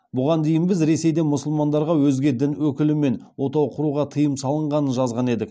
бұған дейін біз ресейде мұсылмандарға өзге дін өкілімен отау құруға тыйым салынғанын жазған едік